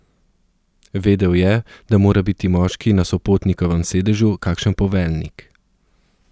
Vedel je, da mora biti moški na sopotnikovem sedežu kakšen poveljnik.